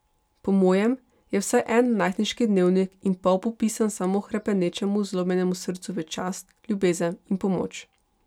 Po mojem je vsaj en najstniški dnevnik in pol popisan samo hrepenečemu, zlomljenemu srcu v čast, ljubezen in pomoč.